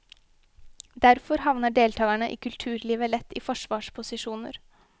Derfor havner deltagerne i kulturlivet lett i forsvarsposisjoner.